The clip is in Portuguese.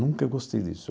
Nunca gostei disso.